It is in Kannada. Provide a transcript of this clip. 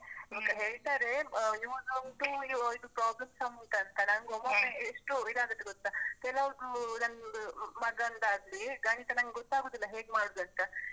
ಹೇಳ್ತಾರೇ ಆ use ಉಂಟು ಅಹ್ ಇದು problem ಸಮ್ ಉಂಟಂತ, ಒಮೊಮ್ಮೆ ಎಷ್ಟು ಇದ್ ಆಗತ್ತೆ ಗೊತ್ತ? ಕೆಲೊವ್ದು ನಂದು ಮಗಂದಾಗ್ಲಿ ಗಣಿತ ನಂಗ್ ಗೊತ್ತಾಗುದಿಲ್ಲ ಹೇಗ್ಮಾಡುದಂತ.